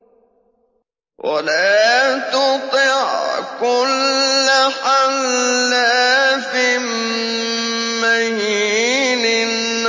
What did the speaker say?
وَلَا تُطِعْ كُلَّ حَلَّافٍ مَّهِينٍ